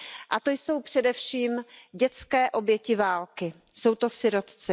A to jsou především dětské oběti války, jsou to sirotci.